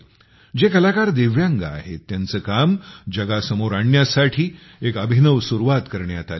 जे कलाकार दिव्यांग आहेत त्यांचे काम जगासमोर आणण्यासाठी एक अभिनव सुरुवात करण्यात आली आहे